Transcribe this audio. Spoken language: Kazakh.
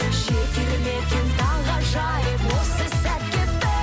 жетер ме екен таңғажайып осы сәтке бір